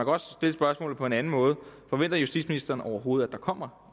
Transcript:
også stille spørgsmålet på en anden måde forventer justitsministeren overhovedet at der kommer